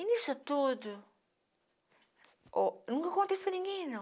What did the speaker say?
E nisso tudo... Nunca contei isso para ninguém, não.